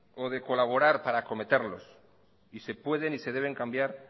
o de colaborar para cometerlos y se pueden y se deben cambiar